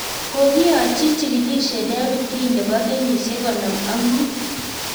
Kokiyachii chikilisiet David Green nepoo kenyisiek konom ak muut